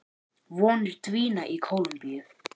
Vonir dvína í Kólumbíu